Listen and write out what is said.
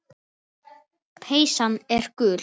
Peysan gul.